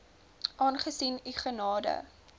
aangesien u gade